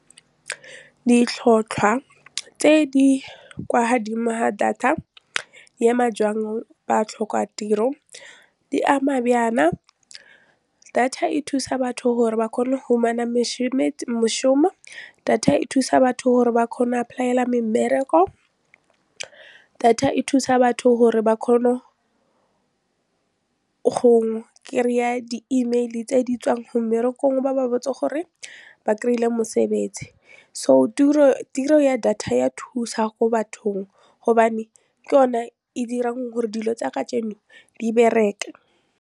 Ditlhotlhwa tse di kwa godimo tsa data ya ba tlhokatiro di ama bjana data e thusa batho gore ba kgone go fumana data e thusa batho gore ba kgone apply-ela memmereko, data e thusa batho gore ba kgone go kry-a di-email-i tse di tswang ho mmerekong ba ba botse gore ba kry-ile mosebetsi so ya data ya thusa ko bathong gobane ke yone e dirang gore dilo tsa kejeno di bereke.